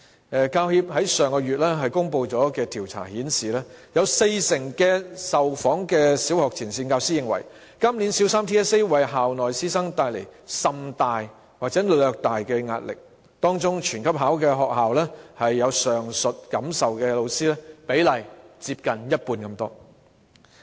香港教育專業人員協會在上月公布的調查顯示，有四成的受訪小學前線教師認為，今年小三 TSA 為校內師生帶來甚大或略大的壓力；在"全級考"的學校中有上述感受的教師，比例接近一半。